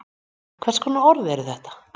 Hvers konar orð eru þetta?